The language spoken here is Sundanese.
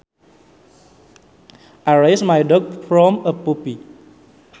I raised my dog from a puppy